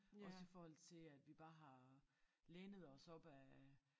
Også i forhold til at vi bare har lænet os op ad